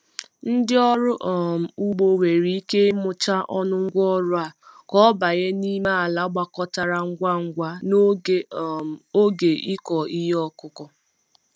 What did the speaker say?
Ndị ọrụ um ugbo nwere ike ịmụcha ọnụ ngwa ọrụ a ka ọ banye n'ime ala gbakọtara ngwa ngwa n'oge um oge ịkọ ihe ọkụkụ.